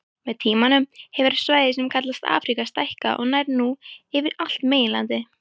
Með tímanum hefur svæðið sem kallast Afríka stækkað og nær nú yfir allt meginlandið.